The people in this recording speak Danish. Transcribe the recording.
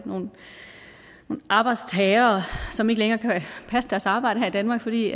nogle arbejdstagere som ikke længere kan passe deres arbejde her i danmark fordi